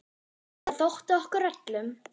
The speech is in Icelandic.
Það þótti okkur öllum.